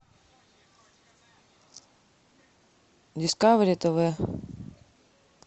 дискавери тв